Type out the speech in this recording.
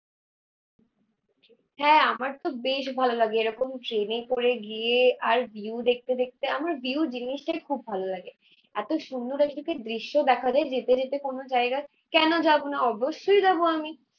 হ্যাঁ আমারতো বেশ ভালো লাগে এরকম ট্রেনে করে গিয়ে আর ভিউ দেখতে দেখতে, আমার ভিউ জিনিসটাই খুব ভালো লাগে। এতো সুন্দর দৃশ্য দেখা যাই যেতে যেতে কোনো জায়গায়। কেন যাবো না অবশ্যই যাবো আমি।